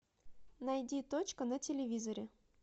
найди точка на телевизоре